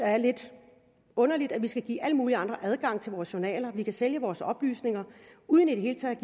er lidt underligt at vi skal give alle mulige andre adgang til vores journaler og at vi kan sælge vores oplysninger uden i det hele taget